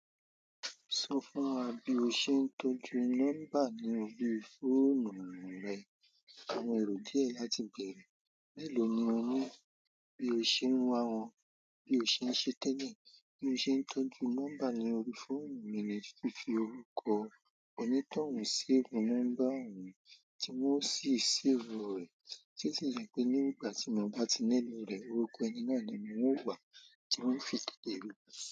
Sọ fún wa bí o ṣe ń tọ́jú nọ́mbà ní orí fóònù rẹ. Àwọn èrò idí ẹ̀ láti bèèrè. Mẹ́èló ni o ní? Bí o ṣe ń wá wọn, bí o ṣe ń ṣe téle, bí mo ṣe ń tọ́jú nọ́mbà ní orí fóònù mi ní fífi orúkọ onítọ̀hún sí ibi nọ́mbà ohun tí wọ́n sì save rẹ̀. To sì jẹ́ pé nígbà tí mo bá ti nílò rẹ̀, orúkọ ẹni náà ni wọn o wá, tí wọn fi tètè rí i.